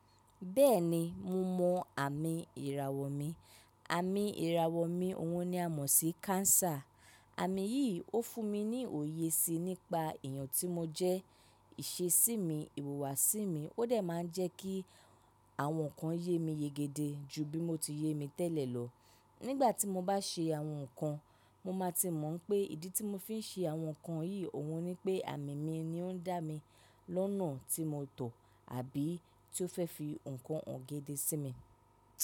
Bẹ́ẹ̀ni mo mọ àmì ìràwọ̀ mi, àmì ìràwọ̀ mi òun ni a mọ̀ sí káńsà. Àmì yí ó fún mi ní òye sí i nípa èèyàn tí mo jẹ́, ìsesí mi, ìhùwàsí mi, ó dẹ̀ máa ń jẹ́ kí àwọn nǹkan ye mi yégede ju bí mo ti ye mi tẹ́lẹ̀ lọ. Nígbà tí mo bá se àwọn nǹkan, mo máa ti mọ̀ pé ìdí tí mo fi ń se àwọn nǹkan yìí òun ni pé àmì mi ni ó ń dá mi lọ́nà tí mo tọ̀ àbí tí ó fẹ́ fi nǹkan hàn gẹ́dẹ́ sí mi.